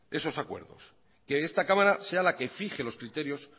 esos acuerdos que esta cámara sea la que fije los criterios